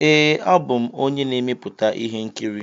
Ee, abụ m onye na-emepụta ihe nkiri.